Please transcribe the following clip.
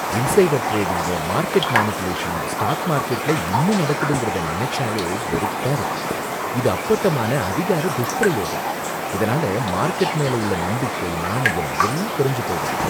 Insider டிரேடிங்கும் market மேனிபுலேஷனும் stock மார்கெட்ல இன்னும் நடக்குதுங்குறதை நினைச்சாலே வெறுப்பா இருக்கு. இது அப்பட்டமான அதிகார துஷ்பிரயோகம், இதனால மார்கெட் மேல உள்ள நம்பிக்கை, நாணயம் எல்லாம் குறைஞ்சு போயிடுது.